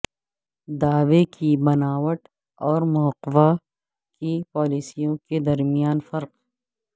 دعوے کی بناوٹ اور مواقع کی پالیسیوں کے درمیان فرق